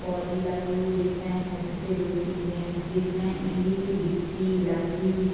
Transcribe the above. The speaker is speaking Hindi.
पौधी लगे हुवे दिख रहे हैं छत पे दो-तीन जेंट्स दिख रहे हैं ईट गिट्टि लकड़ी --